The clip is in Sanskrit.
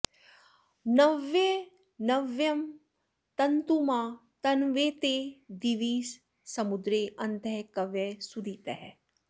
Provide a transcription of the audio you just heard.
नव्यं॑नव्यं॒ तन्तु॒मा त॑न्वते दि॒वि स॑मु॒द्रे अ॒न्तः क॒वयः॑ सुदी॒तयः॑